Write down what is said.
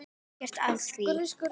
Ekkert að því!